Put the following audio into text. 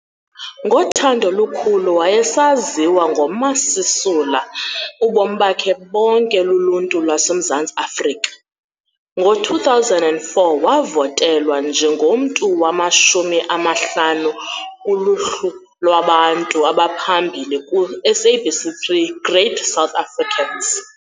Ngothando olukhulu wayesaziwa ngoMa Sisula ubomi bakhe bonke luluntu lwaseMzantsi Afrika. Ngo-2004 wavotelwa njengomntu wamashumi amahlanu kuluhlu lwabantu abaphambili ku-SABC 3 Great South Africans.